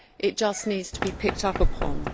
It just needs to be picked up on.